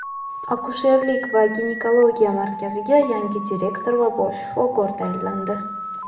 Akusherlik va ginekologiya markaziga yangi direktor va bosh shifokor tayinlandi.